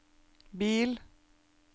bil